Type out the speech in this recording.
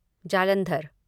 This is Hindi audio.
जालंधर